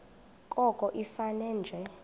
koko ifane nje